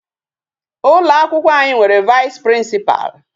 Ụlọ akwụkwọ anyị nwere Vice Principal.